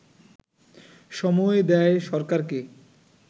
সময় দেয় সরকারকে